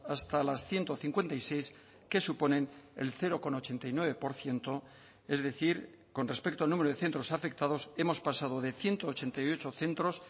hasta las ciento cincuenta y seis que suponen el cero coma ochenta y nueve por ciento es decir con respecto al número de centros afectados hemos pasado de ciento ochenta y ocho centros